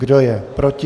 Kdo je proti?